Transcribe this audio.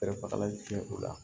u la